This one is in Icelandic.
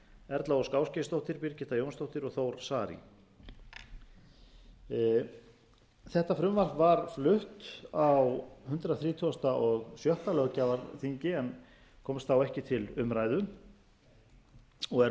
erla ósk ásgeirsdóttir birgitta jónsdóttir og þór saari frumvarp þetta er flutt á hundrað þrítugasta og sjötta löggjafarþingi en komst ekki til umræðu og er